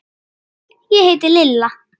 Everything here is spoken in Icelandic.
Sæl, ég heiti Lilla